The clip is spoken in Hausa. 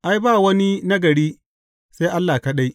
Ai, ba wani nagari, sai Allah kaɗai.